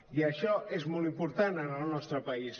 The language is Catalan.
i això és molt important en el nostre país